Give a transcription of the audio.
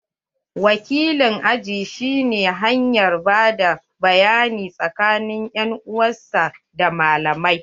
Wakilin aji shi ne hanyar bada bayani tsakanin en uwan sa da malamai.